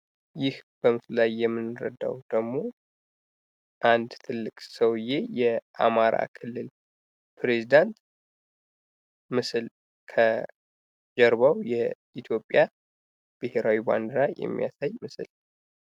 ይህ በምስሉ ላይ የምንረዳው ደግሞ አንድ ትልቅ ሰውዬ የአማራ ክልል ፕሬዝዳንት ምስል ከጀርባው የኢትዮጵያ ብሔራዊ ባንዲራ የሚያሳይ ምስል ።